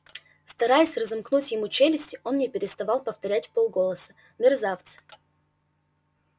стараясь разомкнуть ему челюсти он не переставал повторять вполголоса мерзавцы